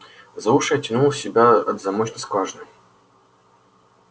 за уши оттянул себя от замочной скважины